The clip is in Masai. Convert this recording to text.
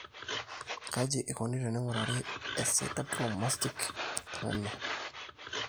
kaji eikoni teneing'urari eSideroblastic anemia?